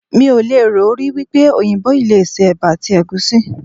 Mí ò lè rò rí wípé òyìnbó yìí le se Ẹ̀bà àti Ẹ̀gúsí.